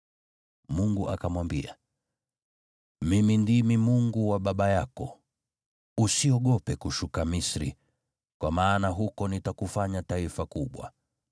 Mungu akamwambia, “Mimi ndimi Mungu wa baba yako, usiogope kushuka Misri, kwa maana huko nitakufanya taifa kubwa.